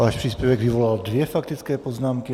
Váš příspěvek vyvolal dvě faktické poznámky.